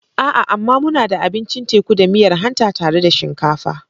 A'a! amma muna da abincin teku da miyar hanta tare da shinkafa.